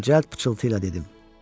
Mən cəld pıçıltıyla dedim: